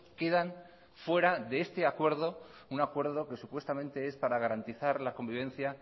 quedan fuera de este acuerdo un acuerdo que supuestamente es para garantizar la convivencia